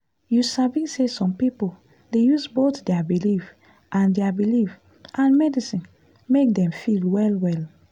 you sabi say some people dey use both their belief and their belief and medicine make dem feel well well.